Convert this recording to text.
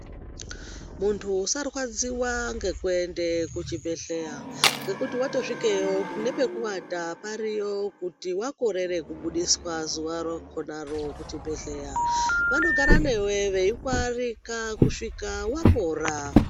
Muntu usarwadziwa ngekuende kuchibhedhleya, ngekuti vatosvikeyo nepekuvata pariyo. Kuti vakorere kubudiswa zuva rakonaro kuchibhedhleya vanogara newe veikuarika kusvika wapora.